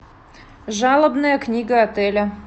жалобная книга отеля